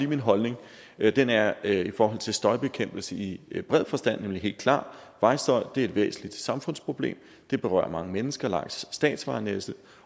min holdning den er i forhold til støjbekæmpelse i i bred forstand nemlig helt klar vejstøj er et væsentligt samfundsproblem det berører mange mennesker langs statsvejnettet